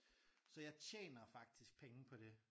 Så jeg tjener faktisk penge på det